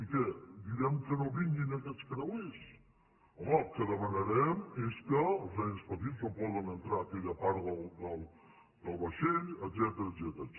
i què direm que no vinguin aquests creuers home el que demanarem és que els nens petits no puguin entrar a aquella part del vaixell etcètera